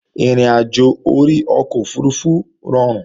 Ìrìnàjò orí ọkọ̀ òfurufú rọrùn